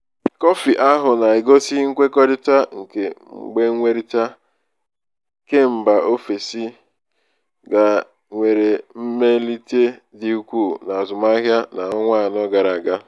kọfị ahụ na-egosi nkwekọrịta nke mgbenwerita kembaofesi ga nwere mmelite dị ukwu n'azụmahịa n'ọnwa anọ gara aga.